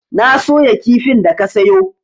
Na soya kifin da ka sayo.